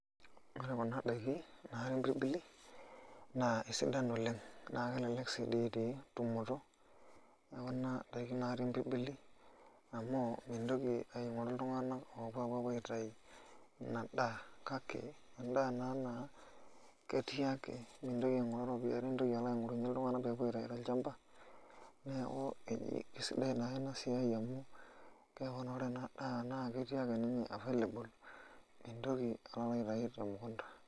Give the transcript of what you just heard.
Ore kuna daiki naatii mpirbili naa kesidan oleng' naa kelelek sii doi tumoto neeku naa ndaikin naatii mpirbili amu mintoki alo aing'oru iltung'anak oopuo aitayu ina daa kake endaa ena naa ketii ake mintoki aing'oru iropiyiani nintoki alo aing'orunyie iltung'anak pee epuo aitayu tolchamba neeku eji kesidai naake ina siai amu keeku naa ore ena daa naa ketii ake ninye available mintoki alo alitayu te mukunda.